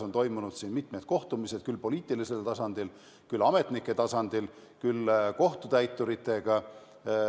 On toimunud mitmed kohtumised küll poliitilisel tasandil, küll ametnike tasandil, küll kohtutäituritega.